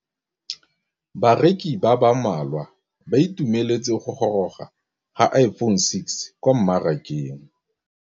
Bareki ba ba malwa ba ituemeletse go gôrôga ga Iphone6 kwa mmarakeng.